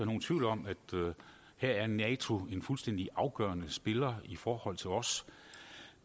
nogen tvivl om at her er nato en fuldstændig afgørende spiller i forhold til os